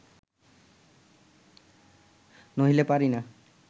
নহিলে পারি না